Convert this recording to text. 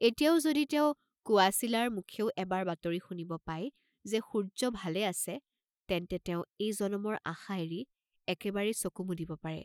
এতিয়াও যদি তেওঁ কোৱাচিলাৰ মুখেও এবাৰ বাতৰি শুনিব পায় যে সূৰ্য্য ভালে আছে, তেন্তে তেওঁ এই জনমৰ আশা এৰি একেবাৰেই চকু মুদিব পাৰে।